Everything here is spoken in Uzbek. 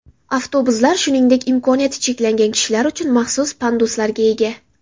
Avtobuslar shuningdek imkoniyati cheklangan kishilar uchun maxsus panduslarga ega.